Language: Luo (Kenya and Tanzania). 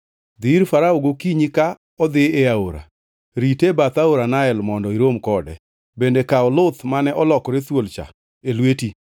Dhi ir Farao gokinyi ka odhi e aora. Rite e bath aora Nael mondo irom kode, bende kaw luth mane olokore thuol cha e lweti.